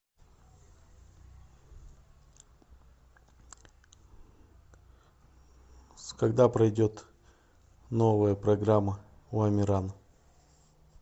когда пройдет новая программа у амирана